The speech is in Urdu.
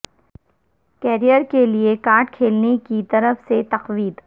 کیریئر کے لئے کارڈ کھیلنے کی طرف سے تقویت